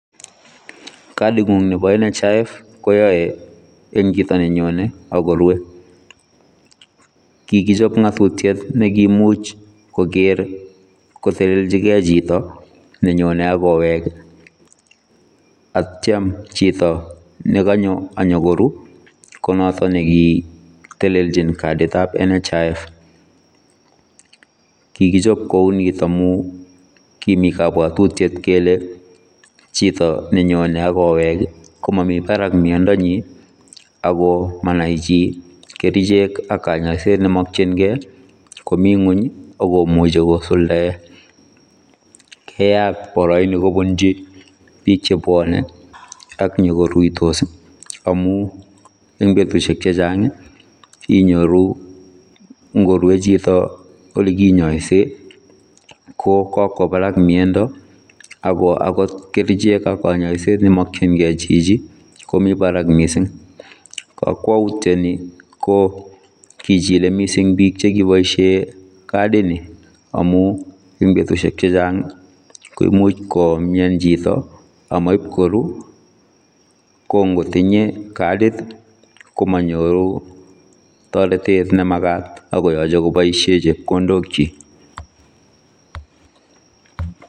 Katit nguung nebo national health insurance fund koyae eng chitoo ne nyonei akorue kikichaap ngatutiet neimuuch koger koteleljii gei chitoo ne nyonei akibaa koweeg ii ak yeityaan chitoo ne kanyoo ak nyokoruu ko notoon nekiteleljiin katit ab national health insurance fund kikichaap kou nitoon amuun kimii kabwatutiet kele ,chitoo ne nyonei ago week komaah Mii barak miandoo nyiin ako manai chii kercheek ak kanyaiseet neimakyiigei komii kweeny akomuchei kosuldaen keyaat barainii kobuchii biik che bwanei ak nyokoruitos ii amuun eng betusiek chechaang inyoruu ingorue chitoo ole kinyaiseen ko kowaa Barak miando akoot kercheek ak kanyaiseet neimakyiigei chichi komii Barak missing kakwautiet nii ko kichile missing biik chekibaisheen katit nii amuun eng betusiek chechaang koimuuch komian chitoo amaip koruu kongotinyei katit ko manyoruu taretet ne magaat akoyachei kobaisheen chepkondook kyiik.